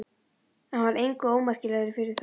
En hann varð engu ómerkilegri fyrir það.